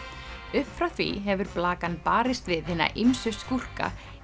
upp frá því hefur barist við hina ýmsu skúrka